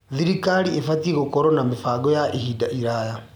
Thirikari ĩbatiĩ gũkorwo na mĩbango ya ihinda iraya.